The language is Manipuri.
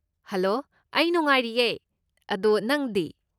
ꯍꯂꯣ, ꯑꯩ ꯅꯨꯡꯉꯥꯏꯔꯤꯌꯦ, ꯑꯗꯣ ꯅꯪꯗꯤ?